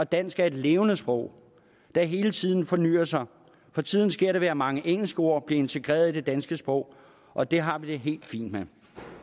dansk er et levende sprog der hele tiden fornyr sig for tiden sker det ved at mange engelske ord bliver integreret i det danske sprog og det har vi det helt fint med